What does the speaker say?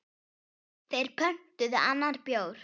Þeir pöntuðu annan bjór.